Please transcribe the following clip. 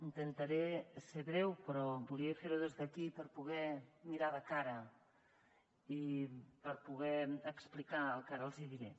intentaré ser breu però volia fer ho des d’aquí per poder mirar de cara i per poder explicar el que ara els diré